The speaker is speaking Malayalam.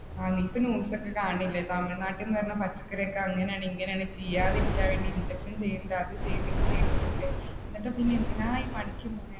ആ നീ ഇപ്പ news ഒക്കെ കാണുന്നില്ലേ തമിഴ്നാട്ടിൽനിന്ന് വന്ന പച്ചക്കറി ഒക്കെ അങ്ങനെയാണ് ഇങ്ങനെയാണ് ചീയാതെ ഇരിക്കാൻ വേണ്ടി injection ചെയ്യണ് അത് ചെയ്നിണ്ട് ഇതു ചെയ്നിണ്ട് എന്നൊക്കെ. എന്നിട്ട് പിന്നെ എന്തിനാ ഈ പണിക്ക് പോണേ